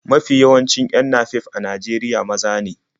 Mafi yawancin 'yan napep a Najeriya maza ne.